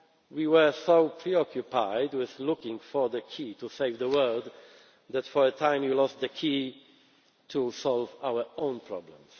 say more. We were so preoccupied with looking for the key to save the world that for a time we lost the key to solve our own